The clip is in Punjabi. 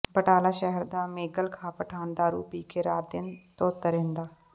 ਬਟਾਲਾ ਸ਼ਹਿਰ ਦਾ ਮੈਗਲ ਖਾਂ ਪਠਾਨ ਦਾਰੂ ਪੀ ਕੇ ਰਾਤ ਦਿਨ ਧੁੱਤ ਰਹਿੰਦਾ